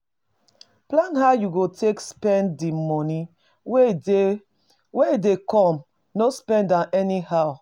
Plan how you go take spend di money wey dey wey dey come, no spend am anyhow